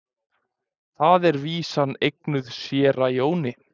Þar er vísan eignuð séra Jóni.